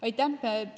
Aitäh!